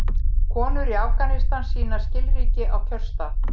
Konur í Afganistan sýna skilríki á kjörstað.